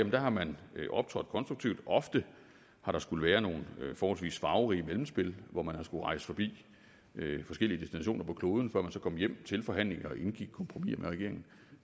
har man optrådt konstruktivt ofte har der skullet være nogle forholdsvis farverige mellemspil hvor man har skullet rejse forbi forskellige destinationer på kloden før man så kom hjem til forhandlinger og indgik kompromiser med regeringen